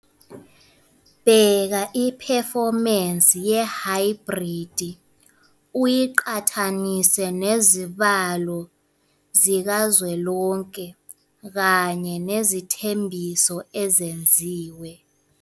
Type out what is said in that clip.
Bheka iphefomensi yehaybridi uyiqhathanise nezibalo zikazwelonke kanye nezethembiso ezenziwa.